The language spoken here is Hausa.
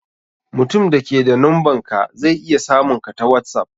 Mutumin da ke da numbanka zai iya samun ka ta whatsapp.